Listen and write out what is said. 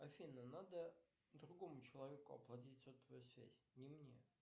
афина надо другому человеку оплатить сотовую связь не мне